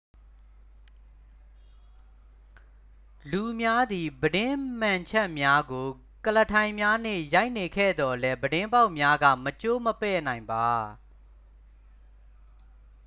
လူများသည် ပြတင်းမှန်ချပ်များကို ကုလားထိုင်များနှင့် ရိုက်နေခဲ့သော်လည်း ပြတင်းပေါက်များက မကျိုးမပဲ့နိုင်ပါ